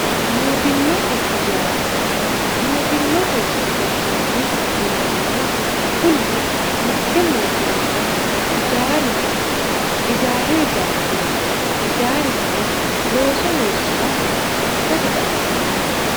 mootimmate ijaara mootimmate ijaaraati yinannihu kunino mitte mootimmara ijaaru noose ijaaru galtewote ijaarisino looso looso loossaaha ikkasi xawisanno.